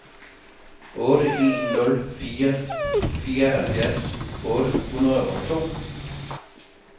otte en nul fire fireoghalvfjerds otte hundrede og to